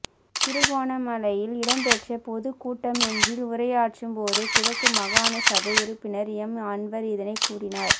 திருகோணமலையில் இடம்பெற்ற பொதுக் கூட்டமொன்றில் உரையாற்றும் போதே கிழக்கு மாகாண சபை உறுப்பினர் எம் அன்வர் இதனைக் கூறினார்